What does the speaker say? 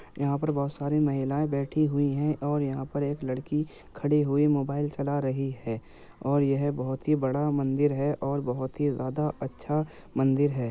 यहाँ पर बहुत सारी महिलाए बैठी हुई हैं और यहाँ पर एक लड़की खड़ी हुई मोबाइल चला रही है और यह बहुत ही बड़ा मंदिर है और बहुत ही ज्यादा अच्छा मंदिर है।